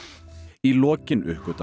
í lokin uppgötva